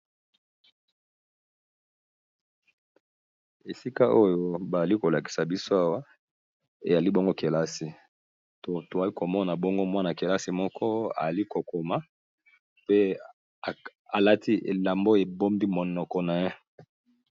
esika oyo baali kolakisa biso awa ezali bongo kelasi to toali komona bongo mwana-kelasi moko ali kokoma pe alati elambo ebombi monoko na ye